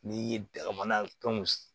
N'i ye dugumana fɛnw